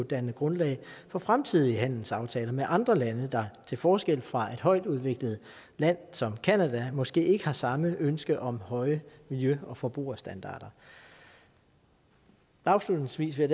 danne grundlag for fremtidige handelsaftaler med andre lande der til forskel fra et højt udviklet land som canada måske ikke har samme ønske om høje miljø og forbrugerstandarder afslutningsvis vil